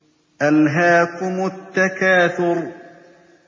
أَلْهَاكُمُ التَّكَاثُرُ